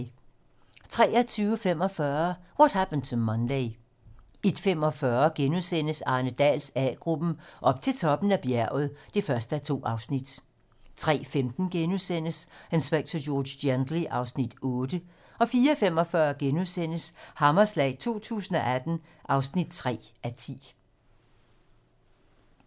23:45: What Happened to Monday 01:45: Arne Dahls A-gruppen: Op til toppen af bjerget (1:2)* 03:15: Inspector George Gently (Afs. 8)* 04:45: Hammerslag 2018 (3:10)*